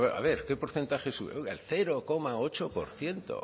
para ver a ver qué porcentaje sube oiga el cero coma ocho por ciento